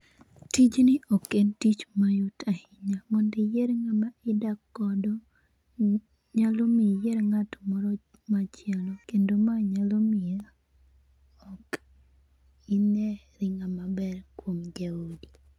Tijni ok en tich mayot ahinya. Mondo iyier ng'ama idak godo. Nyalo miyo iyier ng'at moro machielo kendo ma nyalo miyo ok ineri ng'ama ber kuom jaodi.